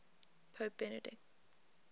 pope benedict